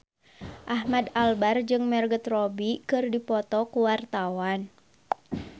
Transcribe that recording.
Ahmad Albar jeung Margot Robbie keur dipoto ku wartawan